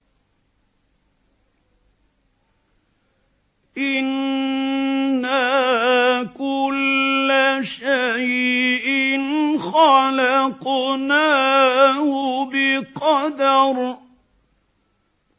إِنَّا كُلَّ شَيْءٍ خَلَقْنَاهُ بِقَدَرٍ